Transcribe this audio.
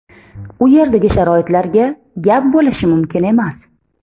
U yerdagi sharoitlarga gap bo‘lishi mumkin emas.